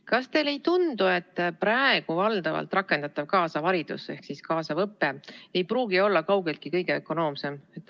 Kas teile ei tundu, et praegu valdavalt rakendatav kaasav haridus ehk kaasav õpe ei pruugi olla kaugeltki kõige ökonoomsem?